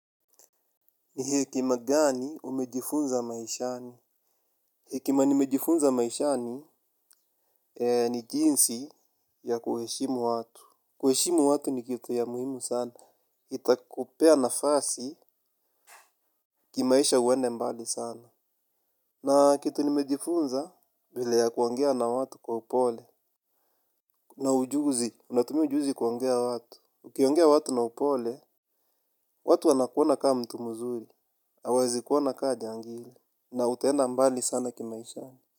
Ni hekima gani umejifunza maishani? Hekima nimejifunza maishani ni jinsi ya kuheshimu watu. Kuheshimu watu ni kitu ya muhimu sana. Itakupea na fasi kimaisha uende mbali sana. Na kitu nimejifunza vile ya kuongea na watu kwa upole. Na ujuzi, unatumia ujuzi kuongea watu. Ukiongea watu na upole, watu wanakuona kaa mtu mzuri. Hawawezikuona kaa jangili. Na utaenda mbali sana kimaishani.